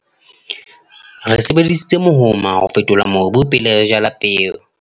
re sebedisitse mohoma ho fetola mobu pele re jala peo